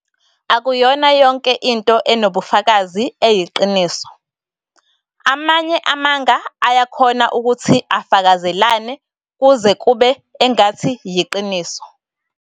Akuyona yonke into enobufakazi eyiqiniso, amanye amanga ayakhona ukuthi afakazelane kuze kube engathi yiqiniso.